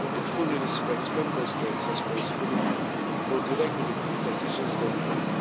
month. It fully respects Member States' responsibility for the regulatory decisions they